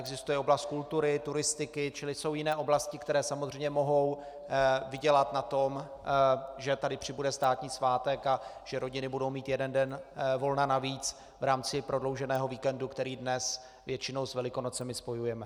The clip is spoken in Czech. Existuje oblast kultury, turistiky, čili jsou jiné oblasti, které samozřejmě mohou vydělat na tom, že tady přibude státní svátek a že rodiny budou mít jeden den volna navíc v rámci prodlouženého víkendu, který dnes většinou s Velikonocemi spojujeme.